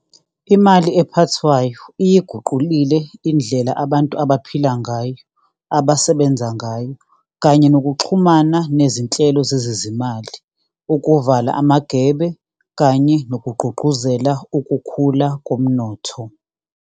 Imali ephathwayo iyiguqule indlela abantu abaphila ngayo, abasebenza ngayo, kanye nokuxhumana nezinhlelo zezezimali, ukuvala amagebe kanye nokugqugquzela ukukhula komnotho.